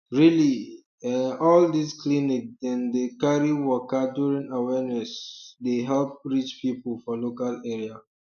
really um eh all this clinic dem dey carry waka during awareness um dey help reach people for local area